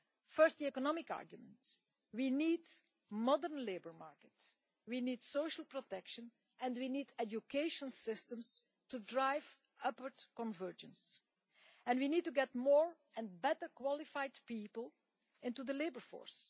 First, the economic arguments we need a modern labour market, we need social protection, and we need education systems to drive upward convergence, and we need to get more and better qualified people into the labour force.